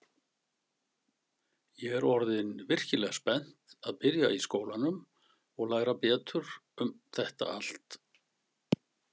Ég er orðin virkilega spennt að byrja í skólanum og læra betur um þetta allt.